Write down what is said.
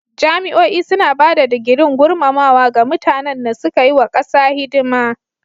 Jami'o'i suna ba da digirin gurmamawa ga mutanan na suka yi wa kasa hidima.